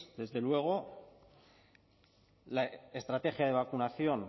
desde luego la estrategia de vacunación